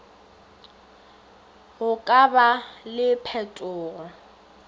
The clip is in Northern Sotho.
go ka ba le phetogo